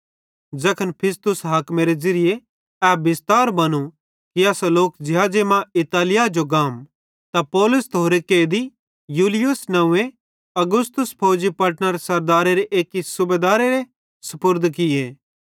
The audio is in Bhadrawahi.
ज़ैखन फिस्तुस हाकिमेरे ज़िरिये ए बिस्तार बनों कि असां लोक ज़िहाज़े मां इतालिया जो गाम त पौलुस त होरे कैदी यूलियुस नंव्वे औगुस्तुस फौजी पलटनरे सरदारेरे एक्की सूबेदारेरे सुपुर्द किये